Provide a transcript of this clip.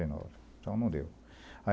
e nove. Então, não deu.